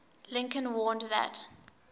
lincoln warned that